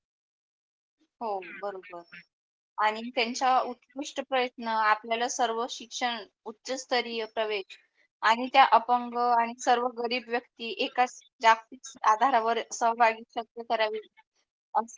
हो बरोबर. आणि त्यांच्या उत्कृष्ट प्रयत्न आपल्या सर्व शिक्षण उच्चस्तरीय प्रवेश आणि त्या अपंग आणि सर्व गरीब व्यक्ति एकाच जागतिक आधारवर सहभागी सभ्य करावे लागते.